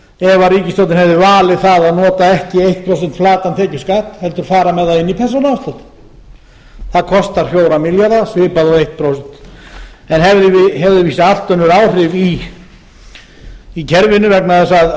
ef ríkisstjórnin hefði valið það að nota ekki einu prósenti flatan tekjuskatt heldur fara með það inn í persónuafsláttinn það kostar fjóra milljarða svipað og eitt prósent en hefur víst allt önnur áhrif í kerfinu vegna þess